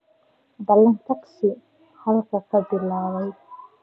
ballan tagsi halkan ka bilaabaya